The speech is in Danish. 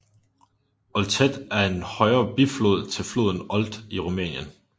Olteț er en højre biflod til floden Olt i Rumænien